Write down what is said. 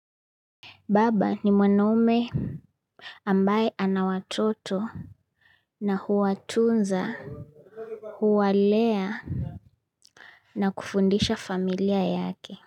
Baba ni mwanaume ambaye ana watoto na huwatunza, huwalea na kufundisha familia yake.